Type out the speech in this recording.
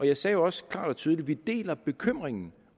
jeg sagde jo også klart og tydeligt at vi deler bekymringen